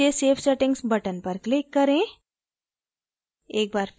फिर नीचे save settings button पर click करें